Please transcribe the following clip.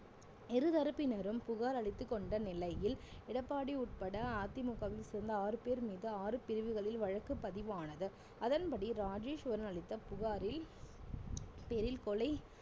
இருதரப்பினரும் புகார் அளித்துக் கொண்ட நிலையில் எடப்பாடி உட்பட அதிமுகவில் சேர்ந்த ஆறு பேர் மீது ஆறு பிரிவுகளில் வழக்கு பதிவானது அதன்படி ராஜேஸ்வரன் அளித்த புகாரில் பேரில் கொலை